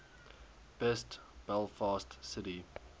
best belfast city